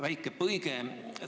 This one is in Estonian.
Väike kõrvalepõige.